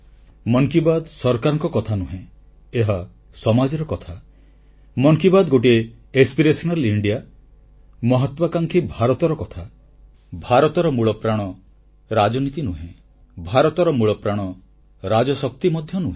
ମନ୍ କି ବାତ୍ ସରକାରଙ୍କ କଥା ନୁହେଁ ଏହା ସମାଜର କଥା ମନ କି ବାତ୍ ଗୋଟିଏ ଅଭିଳାଷୀ ଭାରତ ଆସ୍ପିରେସନାଲ ଇଣ୍ଡିଆ ମହତ୍ୱାକାଂକ୍ଷୀ ଭାରତର କଥା ଭାରତର ମୂଳପ୍ରାଣ ରାଜନୀତି ନୁହେଁ ଭାରତର ମୂଳପ୍ରାଣ ରାଜଶକ୍ତି ମଧ୍ୟ ନୁହେଁ